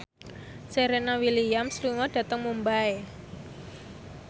Serena Williams lunga dhateng Mumbai